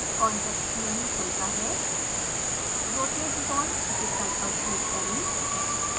contextmenu खुलता है rotate bond विकल्प पर क्लिक करें